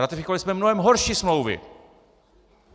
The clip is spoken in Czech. Ratifikovali jsme mnohem horší smlouvy.